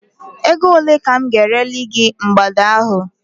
Ego ole ka m ga-ereli mgbada a?